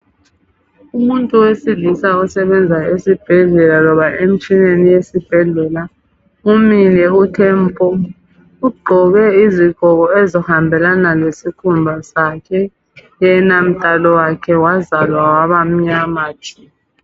Umuntu wesilisa osebenza esibhedlela loba emtshineni yesibhedlela umile uthe mpo. Ugqoke izigqoko ezihambelana lesikhumba sakhe. Yena mdalo wakhe wazalwa wabamnyama tshu.